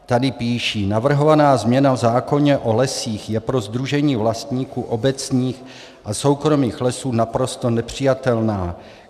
Tady píší: Navrhovaná změna v zákoně o lesích je pro Sdružení vlastníků obecních a soukromých lesů naprosto nepřijatelná.